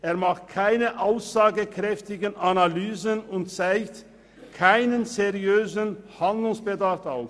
Der Bericht macht keine aussagekräftigen Analysen und zeigt keinen seriösen Handlungsbedarf auf.